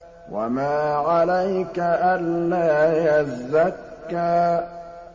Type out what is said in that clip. وَمَا عَلَيْكَ أَلَّا يَزَّكَّىٰ